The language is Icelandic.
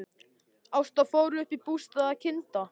Ásta fór upp í bústað að kynda.